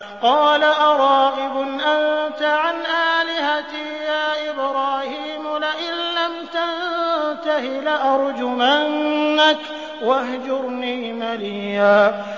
قَالَ أَرَاغِبٌ أَنتَ عَنْ آلِهَتِي يَا إِبْرَاهِيمُ ۖ لَئِن لَّمْ تَنتَهِ لَأَرْجُمَنَّكَ ۖ وَاهْجُرْنِي مَلِيًّا